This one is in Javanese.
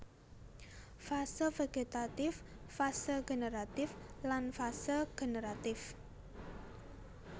Fase vegetatif fase generatif lan fase generatif